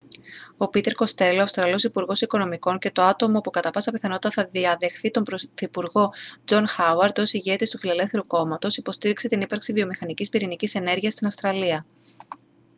ο πίτερ κοστέλο ο αυστραλός υπουργός οικονομικών και το άτομο που κατά πάσα πιθανότητα θα διαδεχθεί τον πρωθυπουργό τζον χάουαρντ ως ηγέτης του φιλελεύθερου κόμματος υποστήριξε την ύπαρξη βιομηχανίας πυρηνικής ενέργειας στην αυστραλία